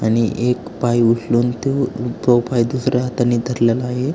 आणि एक पाय उचलून तो उजवा पाय दुसऱ्या हाताने धरलेला आहे.